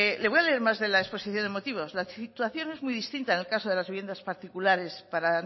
les voy a leer más de la exposición de motivos la situación es muy distinta en el caso de las viviendas particulares para